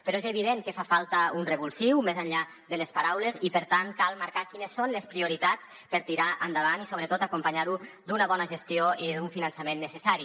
però és evident que fa falta un revulsiu més enllà de les paraules i per tant cal marcar quines són les prioritats per tirar endavant i sobretot acompanyar ho d’una bona gestió i d’un finançament necessari